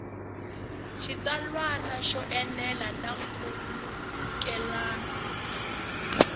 xitsalwana yo enela na nkhulukelano